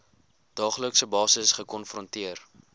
daaglikse basis gekonfronteer